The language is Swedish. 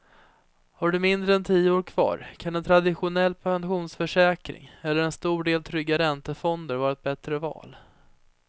Har du mindre än tio år kvar kan en traditionell pensionsförsäkring eller en stor del trygga räntefonder vara ett bättre val.